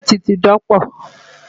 Ṣẹ́ẹ̀tì ti dọ̀pọ̀.